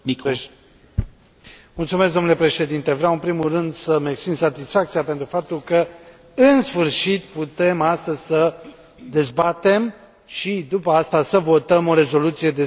Domnule președinte, vreau în primul rând să îmi exprim satisfacția, pentru că, în sfârșit, putem astăzi să dezbatem și, după, să votăm o rezoluție despre cazul Nadiyei Savchenko.